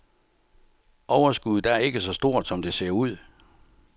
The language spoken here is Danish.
Overskuddet er ikke så stort, som det ser ud.